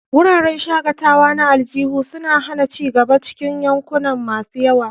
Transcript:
Wuraren shakatawa na aljihu suna hana ci gaba a cikin yankuna masu yawa.